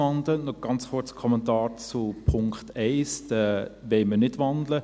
Ganz kurz ein Kommentar zum Punkt 1: Diesen wollen wir nicht wandeln.